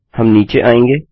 हम नीचे आएँगे